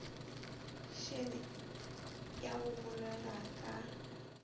šele ya go bolelwa ka